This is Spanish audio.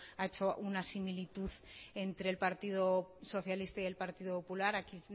ha hecho una similitud entre el partido socialista y el partido popular aquí